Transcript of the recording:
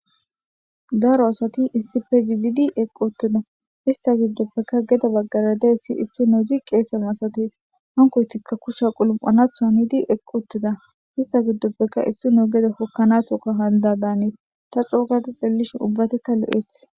Daro asati issippe gididi shiqi uttida.ista gidopeka issinozi gede bagara dizaysi qeeseko hankoytika kusha qalam'anatho hanidi uttida ista gidope issinozi gede hokanatho hanidada gees. Ta c'oo gada xelishin ubbatika lo'etees.